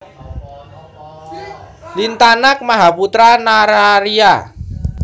Lintanag Mahaputra Nararya